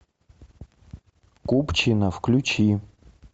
купчино включи